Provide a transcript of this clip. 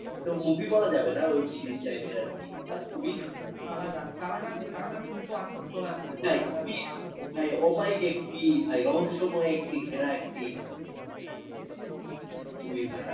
ওটা movie বলা যাবেনা web series type এর আর কি but খুবই কারাগার কারাগার কারাগার two তো চলে আসছে কারাগার one two ভাই ওমাইক একটি ভাই রহস্যময় একটি ঘেরা একটি movie ভাই